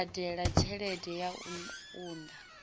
badela tshelede ya u unḓa